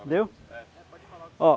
Entendeu? É. Ó